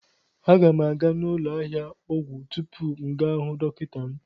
A ga m aga n'ụlọ ahịa ọgwụ tupu m gaa hụ dọkịta m